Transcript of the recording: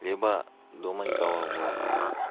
либо думай головой